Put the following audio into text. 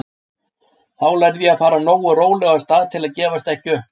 Þá lærði ég að fara nógu rólega af stað til að gefast ekki upp.